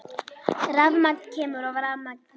Rafmagn kemur og rafmagn fer.